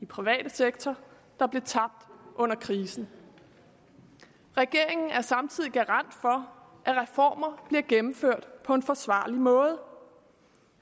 private sektor der blev tabt under krisen regeringen er samtidig garant for at reformer bliver gennemført på en forsvarlig måde